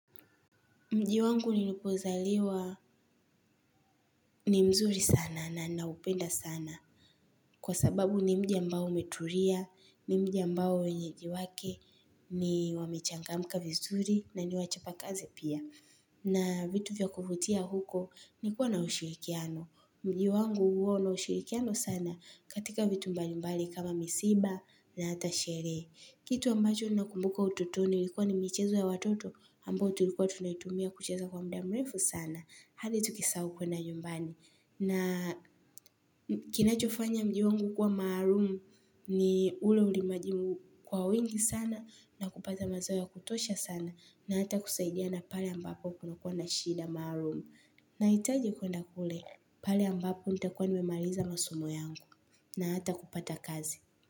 Mji wangu nilipozaliwa ni mzuri sana na naupenda sana. Kwa sababu ni mji ambao umeturia, ni mji ambao wenyeji wake, wamechangamka vizuri na ni wachapa kazi pia. Na vitu vya kuvutia huko ni kuwa na ushirikiano. Mji wangu huo una ushirikiano sana katika vitu mbalimbali kama misiba na hata shere. Kitu ambacho ninakumbuka utotoni ilikuwa ni michezo ya watoto ambao tulikuwa tunaitumia kucheza kwa mda mrefu sana. Hadi tukisahau kuenda nyumbani. Na kinachofanya mji wangu kuwa maharumu ni ule ulimaji kwa wingi sana na kupata mazao ya kutosha sana na hata kusaidiana pale ambapo kuna kuwa na shida maharum. Na itaji kuenda kule pale ambapo nitakuwa nimemaliza masomo yangu na hata kupata kazi.